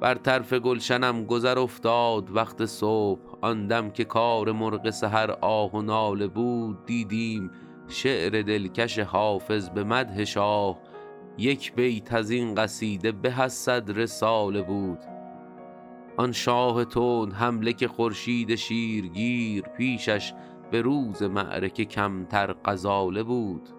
بر طرف گلشنم گذر افتاد وقت صبح آن دم که کار مرغ سحر آه و ناله بود دیدیم شعر دلکش حافظ به مدح شاه یک بیت از این قصیده به از صد رساله بود آن شاه تندحمله که خورشید شیرگیر پیشش به روز معرکه کمتر غزاله بود